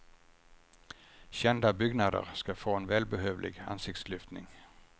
Kända byggnader ska få en välbehövlig ansiktslyftning.